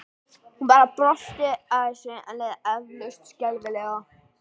Hún bara brosti að þessu en leið eflaust skelfilega.